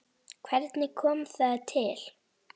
Hvernig kom það til?